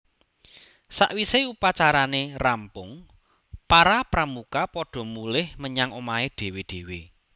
Sawise upacarane rampung para Pramuka padha mulih menyang omahé dhéwé dhéwé